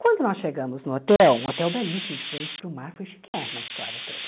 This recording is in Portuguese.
Quando nós chegamos no hotel, um hotel belíssimo de frente para o mar, foi chiquérrimo a história toda.